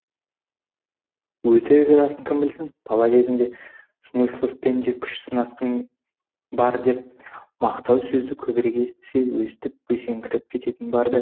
өтірік расын кім білсін бала кезімде смысловпен де күш сынасқаным бар деп мақтау сөзді көбірек естісе өстіп бөсіңкіреп кететіні бар ды